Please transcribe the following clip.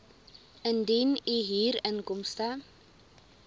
indien u huurinkomste